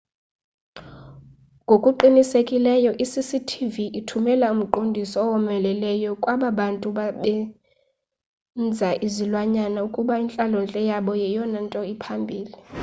ngokuqinisekileyo i-cctv ithumela umqondiso owomeleleyo kwaba bantu basebenza nezilwanyana ukuba intlalontle yabo yeyona nto iphambili